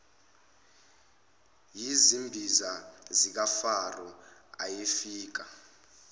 yizimbiza zikafaro ayefika